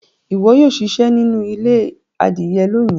ìwo yóò ṣiṣẹ nínú ilé adìye lóni.